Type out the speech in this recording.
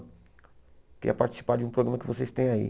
Queria participar de um programa que vocês têm aí.